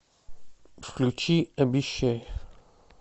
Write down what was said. включи обещай